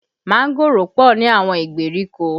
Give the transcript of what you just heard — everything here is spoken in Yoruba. Mángòrò pọ ní àwọn ìgbèríko